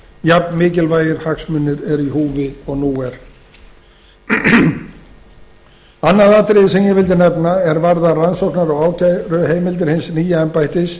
jafnmikilvægir hagsmunir eru í húfi og nú annað atriði sem ég vildi nefna er varðar rannsóknar og ákæruheimildir hins nýja embættis